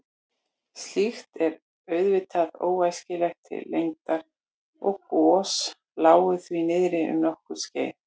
Slíkt er auðvitað óæskilegt til lengdar og gos lágu því niðri um allnokkurt skeið.